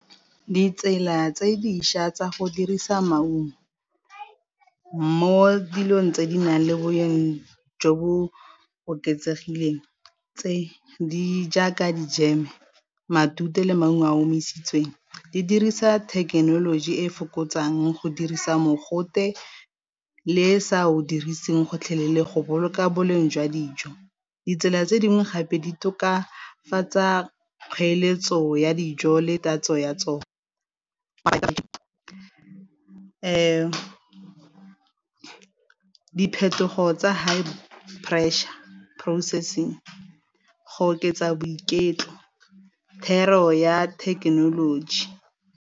Ditsela tse dišwa tsa go dirisa maungo mo dilong tse di nang le boleng jo bo oketsegileng tse di jaaka di-jam-e, matute le maungo a a omisitsweng di dirisa thekenoloji e e fokotsang go dirisa mogote le sa o dirisi gotlhelele go boloka boleng jwa dijo. Ditsela tse dingwe gape di tokafatsa kgoeletso ya dijo le tatso ya tsona, diphetogo tsa high pressure processing go oketsa boiketlo thero ya thekenoloji.